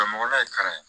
Mɔgɔla ye kalan ye